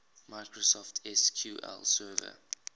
microsoft sql server